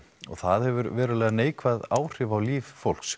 það hefur verulega neikvæð áhrif á líf fólks